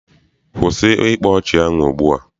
Kwụsị ịkpa ọchị ahụ ugbua!